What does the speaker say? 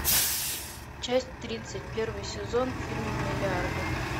часть тридцать первый сезон фильм миллиарды